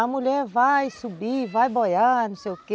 A mulher vai subir, vai boiar, não sei o quê.